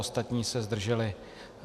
Ostatní se zdrželi.